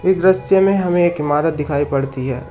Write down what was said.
दृश्य में हमें एक इमारत दिखाई पड़ती है।